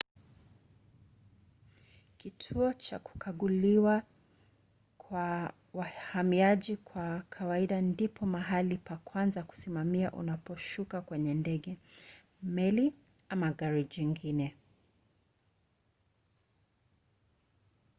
kituo cha kukaguliwa kwa wahamiaji kwa kawaida ndipo mahali pa kwanza kusimama unaposhuka kwenye ndege meli ama gari jingine